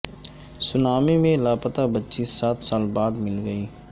tsunami میں لاپتا بچی سات سال بعد مل گئی